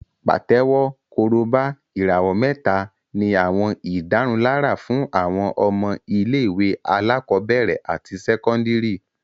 Pàtẹ́wọ́, Korobá, ìràwọ̀ mẹ́ta ní àwọn ìdárunlárà fún àwọn ọmọ ilé-ìwé alákọ̀ọ́bẹ̀rẹ̀ àti sẹ́kọ́ndìrì